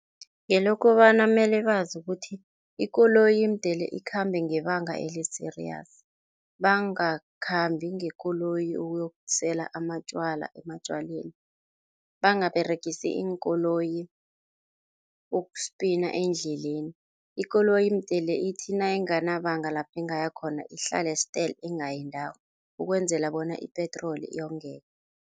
Ngelokobana mele bazi ukuthi ikoloyi mdele ikhambe ngebanga eli ba-serious bangakhambi ngekoloyi ukuyokusela amatjwala ematjwaleni, bangaberegisi iinkoloyi ukuspina endleleni, ikoloyi mdele ithi nayinganabanga lapho ingayakhona, ihlale stele, ingayindawo ukwenzela bona ipetroli yongeke.